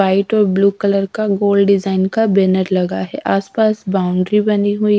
white और blue colour का गोल डिजाइन का बेनर लगा है आस पास बाउंड्री बनी हुई--